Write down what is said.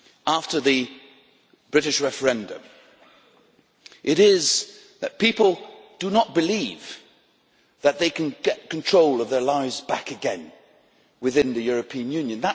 after the British referendum, it is that people do not believe that they can get control of their lives back again within the European Union.